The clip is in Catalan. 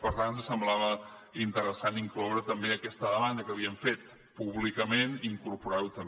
per tant ens semblava interessant incloure també aquesta demanda que havíem fet públicament incorporar la també